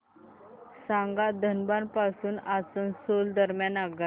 सांगा धनबाद पासून आसनसोल दरम्यान आगगाडी